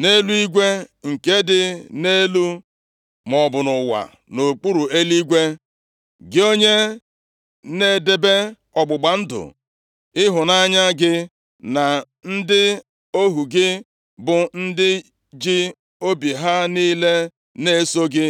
nʼeluigwe nke dị nʼelu, maọbụ nʼụwa, nʼokpuru eluigwe. Gị onye na-edebe ọgbụgba ndụ ịhụnanya gị na ndị ohu gị, bụ ndị ji obi ha niile na-eso ụzọ gị.